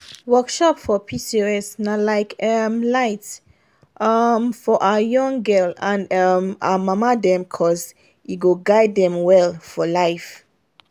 workshop for pcos na like um light um for our young gal and um our mama dem cuz e go guide dem well for life.